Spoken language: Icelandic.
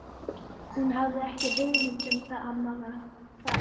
Hún hafði ekki hugmynd um hvað amma var að fara.